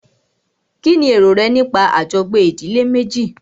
Kínní èrò rẹ nípa àjọgbé ìdílé méjì?